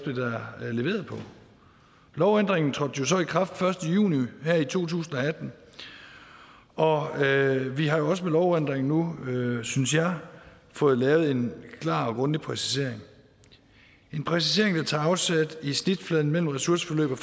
på lovændringen trådte jo så i kraft den første juni her i to tusind og vi har også med lovændringen nu synes jeg fået lavet en klar og grundig præcisering en præcisering der tager afsæt i snitfladen mellem ressourceforløb og